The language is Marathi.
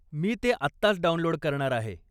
मी ते आत्ताच डाउनलोड करणार आहे.